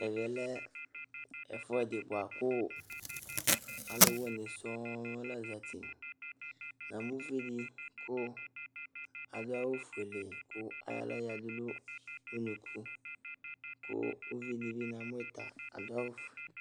Ɛmɛlɛ ɛfʋɛdi bʋakʋ alʋwini sɔŋ lazati, namʋ ʋvidi kʋ adʋ awʋfuele kʋ ayɔ aɣla yadʋ nʋ ʋnʋkʋ kʋ ʋvidibi namʋ yita adʋ awʋfue